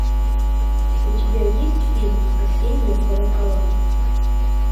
у тебя есть фильм осенние колокола